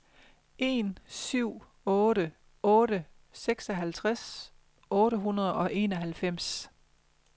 en syv otte otte seksoghalvtreds otte hundrede og enoghalvfems